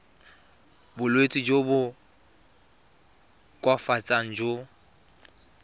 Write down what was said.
bolwetsi jo bo koafatsang jo